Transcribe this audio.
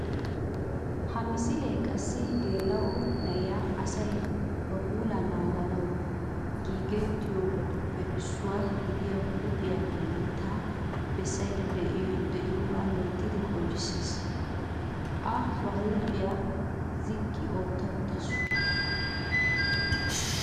Ha misilee qassi issi geela"o na''iya asay ba puulaa naaganawu giigettiyobatuppe issuwa gidiya huuphiya giigettada bessaydda de'iyogaa loyttidi qonccissees. A ba huuphiya ziqqi ootta uttaasu.